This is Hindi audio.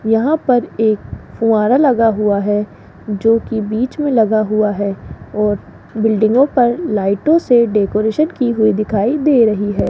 यहां पर एक फुहारा लगा हुआ है जो की बीच में लगा हुआ है और बिल्डिंगों पर लाइटों से डेकोरेशन की हुई दिखाई दे रही है।